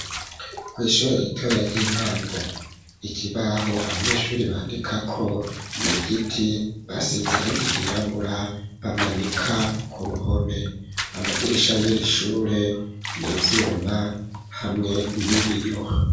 Kw’ishure ritoya, ry’intango; ikibaho, abanyeshuri bandikako, ni igiti basize, irangi ryirabura, bamanika ku ruhome; amadirisha y'iri shure, ni ivyuma, hamwe n'ibiyo.